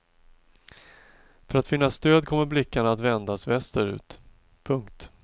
För att finna stöd kommer blickarna att vändas västerut. punkt